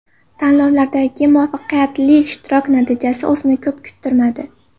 Tanlovlardagi muvaffaqiyatli ishtirok natijasi o‘zini ko‘p kuttirmadi.